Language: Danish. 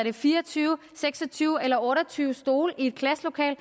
er fire og tyve seks og tyve eller otte og tyve stole i et klasselokale